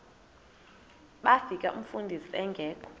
bafika umfundisi engekho